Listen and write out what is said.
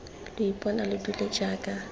lo ipona lo dule jaana